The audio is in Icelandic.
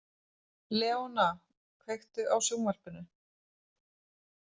Leona, kveiktu á sjónvarpinu.